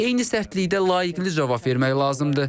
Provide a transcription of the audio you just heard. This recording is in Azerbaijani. Eyni sərtlikdə layiqlicə cavab vermək lazımdır.